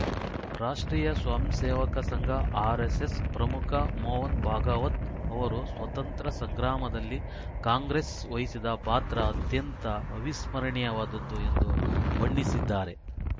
ರಾಷ್ಟ್ರೀಯ ಸ್ವಯಂಸೇವಕ ಸಂಘ ಆರೆಸ್ಸೆಸ್‌ ಪ್ರಮುಖ ಮೋಹನ್‌ ಭಾಗವತ್‌ ಅವರು ಸ್ವಾತಂತ್ರ್ಯ ಸಂಗ್ರಾಮದಲ್ಲಿ ಕಾಂಗ್ರೆಸ್‌ ವಹಿಸಿದ ಪಾತ್ರ ಅತ್ಯಂತ ಅವಿಸ್ಮರಣೀಯವಾದದ್ದು ಎಂದು ಬಣ್ಣಿಸಿದ್ದಾರೆ